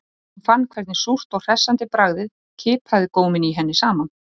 Hún fann hvernig súrt og hressandi bragðið kipraði góminn í henni saman